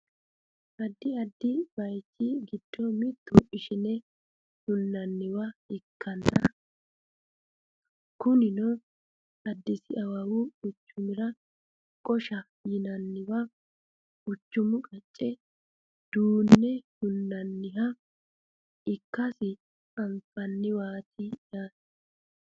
addi addi bayeechi giddo mittu ishsine hunnanniwa ikkanna kunino addisi awawu quchumira qoshe yinanniwa quchumu qaccera duunne hunnoonniha ikkasi anfannniwaati yaate